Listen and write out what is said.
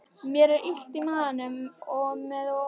Mér er illt í maganum og með ógleði.